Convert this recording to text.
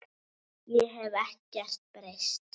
Ég hef ekkert breyst.